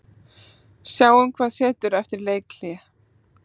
Sjáum hvað setur eftir leikhlé.